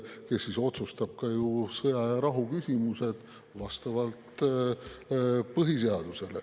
Tema ju otsustab vastavalt põhiseadusele ka sõja ja rahu küsimusi.